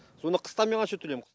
сонда қыста мен қанша төлейм